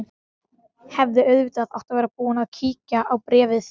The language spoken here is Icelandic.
Hefði auðvitað átt að vera búin að kíkja á bréfið.